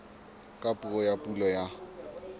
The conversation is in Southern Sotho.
ka puo ya pulo ya